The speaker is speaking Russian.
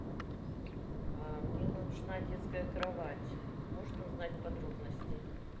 а мне нужна детская кровать можно узнать подробности